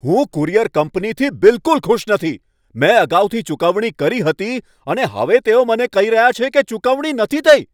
હું કુરિયર કંપનીથી બિલકુલ ખુશ નથી. મેં અગાઉથી ચૂકવણી કરી હતી, અને હવે તેઓ મને કહી રહ્યા છે કે ચુકવણી થઈ નથી!